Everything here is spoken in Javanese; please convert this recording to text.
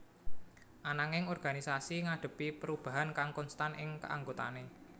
Ananging organisasi ngadhepi perubahan kang konstan ing keanggotaané